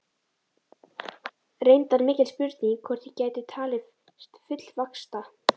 Reyndar mikil spurning hvort ég gæti talist fullvaxta.